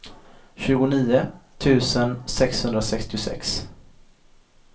tjugonio tusen sexhundrasextiosex